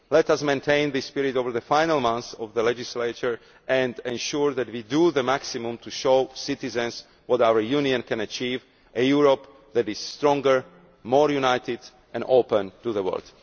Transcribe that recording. Let us maintain this spirit over the final months of the legislature and ensure that we do the maximum to show citizens what our Union can achieve a Europe that is stronger, more united and open to the world.